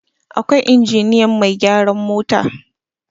akwai injiniyan Mai gyaran mota